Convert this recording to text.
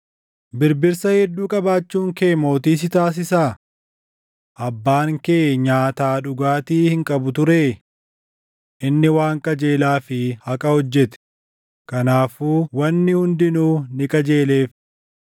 “Birbirsa hedduu qabaachuun kee mootii si taasisaa? Abbaan kee nyaataa dhugaatii hin qabu turee? Inni waan qajeelaa fi haqa hojjete; kanaafuu wanni hundinuu ni qajeeleef.